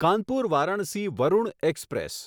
Kanpur Varanasi Varuna express